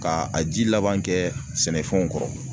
Ka a ji laban kɛ sɛnɛfɛnw kɔrɔ